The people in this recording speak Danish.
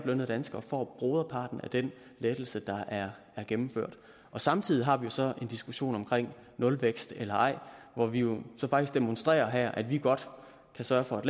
danskere får broderparten af den lettelse der er gennemført samtidig har vi så en diskussion om nulvækst eller ej hvor vi jo faktisk demonstrerer her at vi godt kan sørge for at